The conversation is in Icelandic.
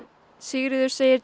Sigríður segir